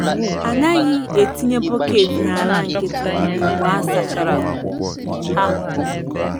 A naghị etinye bọket n’ala nkịtị mgbe a sachara ha.